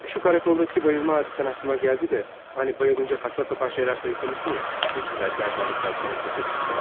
Şu karakoldakı bayılma hadisən ağlıma gəldi də, hani bayılınca saqqısapan şeylər sayıqlamışdın ya, üzüklər, gərdanlıqlar, pul kəsəsi filan.